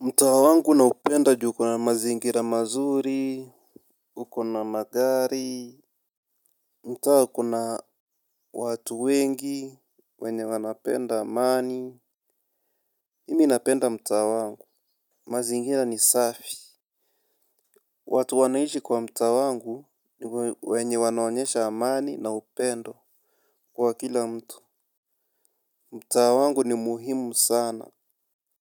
Mtaa wangu naupenda juu kuna mazingira mazuri, uko na magari, mtaa kuna watu wengi, wenye wanapenda amani, mimi napenda mtaa wangu, mazingira ni safi. Watu wanaishi kwa mtaa wangu ni wenye wanaonyesha amani na upendo kwa kila mtu. Mtaa wangu ni muhimu sana.